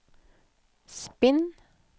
spinn